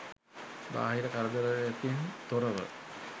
බාහිර කරදරයකින් තොරව